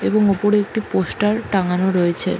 এবং উপরে একটি পোস্টার টাংগানো রয়েছে।